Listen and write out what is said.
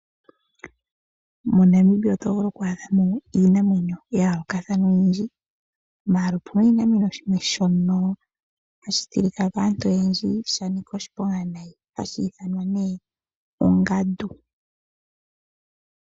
MoNamibia otovulu okwaadhamo iinamwenyo oyili ya yoolokathana nopena oshinamwenyo shimwe shono hashitilika kaantu oyendji shanika oshiponga hashiithanwa ongandu.